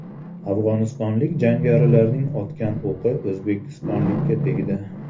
Afg‘onistonlik jangarilarning otgan o‘qi o‘zbekistonlikka tegdi.